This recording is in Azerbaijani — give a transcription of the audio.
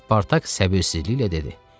Spartak səbirsizliklə dedi: